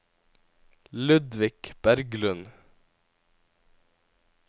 Ludvig Berglund